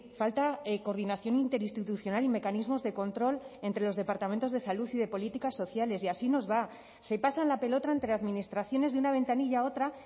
falta coordinación interinstitucional y mecanismos de control entre los departamentos de salud y de políticas sociales y así nos va se pasan la pelota entre administraciones de una ventanilla otra